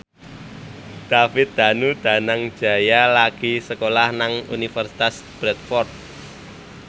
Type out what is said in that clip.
David Danu Danangjaya lagi sekolah nang Universitas Bradford